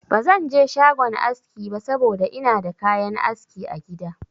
Ba zan je shagon aski ba saboda ina da kayan aski a gida.